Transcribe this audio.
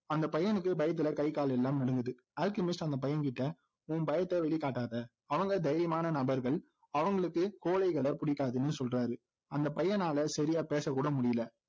அந்த பையனுக்கு பயத்துல கை கால் எல்லாம் நடுங்குது அல்கெமிஸ்ட் அந்த பையன்கிட்ட உன் பயத்தை வெளிக்காட்டாத அவங்க தைரியமான நபர்கள் அவங்களுக்கு கோழைகளை பிடிக்காதுன்னு சொல்றார் அந்த பையனால சரியா பேசக்கூட முடியலை